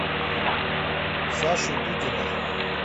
сашу дудина